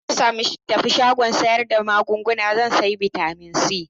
Idan na tafi shagon sayar da magunguna zan sayi Bitamin C.